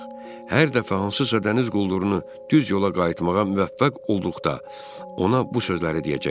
Hər dəfə hansısa dəniz quldurunu düz yola qayıtmağa müvəffəq olduqda ona bu sözləri deyəcəkdi.